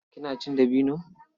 Kina cin dabino?